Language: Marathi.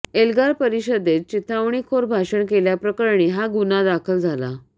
एल्गार परिषदेत चिथावणीखोर भाषण केल्याप्रकरणी हा गुन्हा दाखल